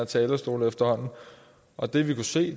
talerstolen og det vi kunne se